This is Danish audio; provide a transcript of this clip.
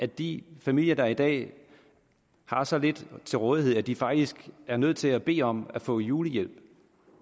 de familier der i dag har så lidt til rådighed at de faktisk er nødt til at bede om at få julehjælp